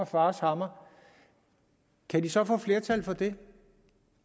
fars hammer kan de så få flertal for det